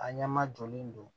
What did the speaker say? A ɲɛ ma jɔlen don